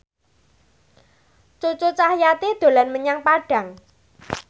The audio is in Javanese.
Cucu Cahyati dolan menyang Padang